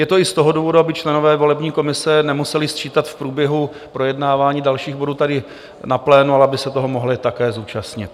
Je to i z toho důvodu, aby členové volební komise nemuseli sčítat v průběhu projednávání dalších bodů tady na plénu, ale aby se toho mohli také zúčastnit.